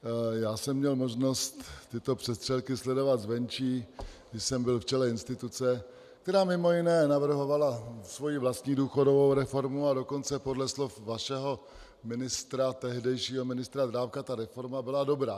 Já jsem měl možnost tyto přestřelky sledovat zvenčí, když jsem byl v čele instituce, která mimo jiné navrhovala svoji vlastní důchodovou reformu, a dokonce podle slov vašeho tehdejšího ministra Drábka ta reforma byla dobrá.